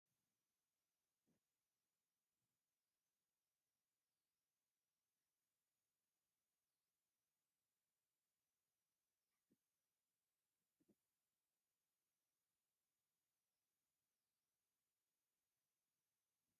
ሳሙና ዲቫን ሳንላይትን ካልእን ናይ ክዳን ሳሙና ኣብ ሹቅ ተደሪድሩ ዝሽየጥ እዩ። ሳሙና ዝረሰሓ ክዳን መሕፀቢ ብጣዕሚ ዘፅርን ፅቡቅን ዓፋሪን እዩ።